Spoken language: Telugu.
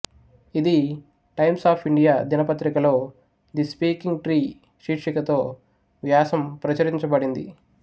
ఇది టైమ్స్ ఆఫ్ ఇండియా దినపత్రికలో ది స్పీకింగ్ ట్రీ శీర్షికతో వ్యాసం ప్రచురించబడింది